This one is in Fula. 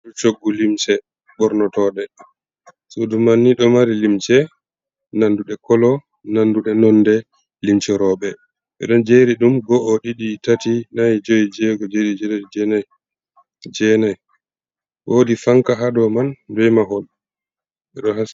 sudu shoggu limce ɓornoto sudumanni ɗomari limce nanduɗe kolo nanduɗe nonde limce roɓe ɓeɗo jeri ɗum go o, ɗiɗi, tati, nayi juyi, jego, jeɗiɗi, jetati, jenai, wodi fanka ha doman bemahol, ɓe ɗohaski.